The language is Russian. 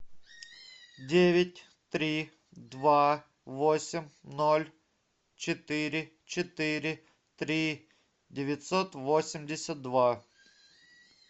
девять три два восемь ноль четыре четыре три девятьсот восемьдесят два